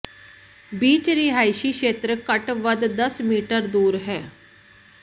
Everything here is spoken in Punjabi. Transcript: ਬੀਚ ਰਿਹਾਇਸ਼ੀ ਖੇਤਰ ਘੱਟ ਵੱਧ ਦਸ ਮੀਟਰ ਦੂਰ ਹੈ